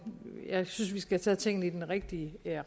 men jeg synes vi skal tage tingene i den rigtige